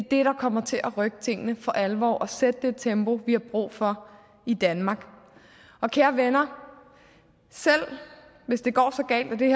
der kommer til at rykke tingene for alvor og sætte det tempo vi har brug for i danmark og kære venner selv hvis det går så galt at det